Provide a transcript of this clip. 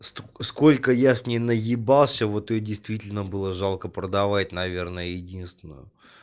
сколько я с ней наебался вот её действительно было жалко продавать наверное единственную